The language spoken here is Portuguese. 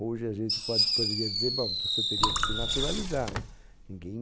Hoje a gente pode, poderia dizer, bom, então você teria que se naturalizar, né? Ninguém